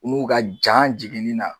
N'u ka jan jiginni na